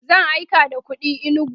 zan aika da kuɗi inugu